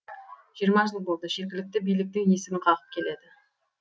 жиырма жыл болды жергілікті биліктің есігін қағып келеді